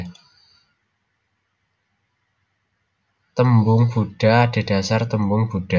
Tembung Buda adhedhasar tembung Buddha